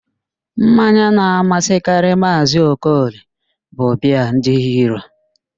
Mmanya na-amasịkarị Maazị Okoli bụ biaa ndị Hiro